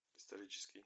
исторический